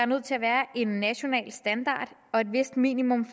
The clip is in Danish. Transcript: nødt til at være en national standard og et vist minimum